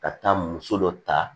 Ka taa muso dɔ ta